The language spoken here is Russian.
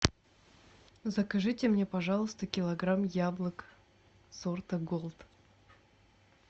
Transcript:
закажите мне пожалуйста килограмм яблок сорта голд